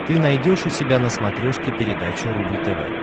ты найдешь у себя на смотрешке передачу рубль тв